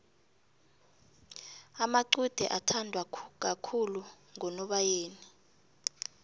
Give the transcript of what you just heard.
amacude athandwa kakhulu ngonobayeni